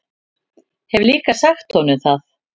Hef líka sagt honum það.